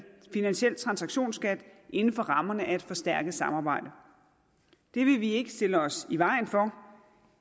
finansiel transaktionsskat inden for rammerne af et forstærket samarbejde det vil vi ikke stille os i vejen for